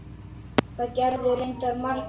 Það gerðu reyndar margir fleiri.